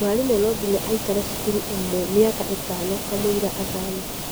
Mwarimũ no nginya aikare cukuru ĩmwe mĩaka ĩtano kamũira athame